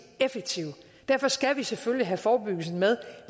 effektive derfor skal vi selvfølgelig have forebyggelsen med